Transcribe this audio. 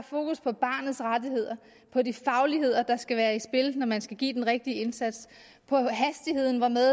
fokus på barnets rettigheder på de fagligheder der skal være i spil når man skal give den rigtige indsats på hastigheden hvormed